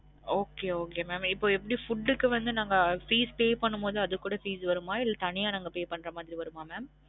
Okay okay mam இப்ப எப்டி food க்கு வந்து நாங்க fees pay பன்னும் போது அது கூட fees வருமா? இல்ல தனியா நாங்க pay பன்ற மாரி வருமா? mam